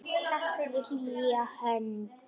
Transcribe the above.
Takk fyrir hlýja hönd.